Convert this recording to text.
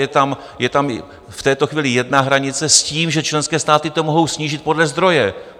Je tam v této chvíli jedna hranice s tím, že členské státy to mohou snížit podle zdroje.